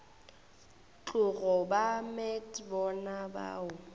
tlogo ba met bona bao